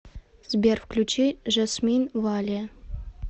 сбер включи жасмин валиа